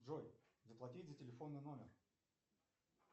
джой заплатить за телефонный номер